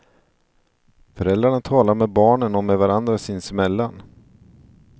Föräldrarna talar med barnen och med varandra sinsemellan.